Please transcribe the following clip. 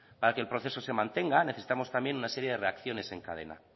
para que el proceso se mantenga necesitamos también una serie de reacciones en cadena